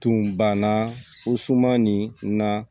Tun banna o suman nin na